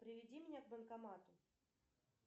приведи меня к банкомату